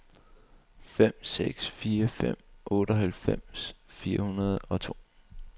fem seks fire fem otteoghalvfems fire hundrede og to